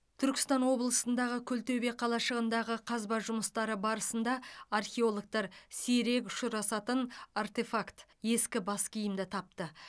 түркістан облысындағы күлтөбе қалашығындағы қазба жұмыстары барысында археологтар сирек ұшырасатын артефакт ескі бас киімді тапты